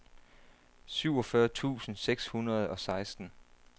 syvogfyrre tusind seks hundrede og seksten